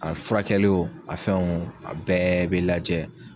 A furakɛli o a fɛn o a bɛɛ be lajɛ